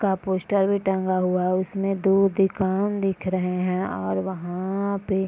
का पोस्टर भी टंगा हुआ है उसमें दो दुकान दिख रहे हैं और वहां पे --